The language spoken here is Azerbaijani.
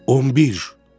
On bir.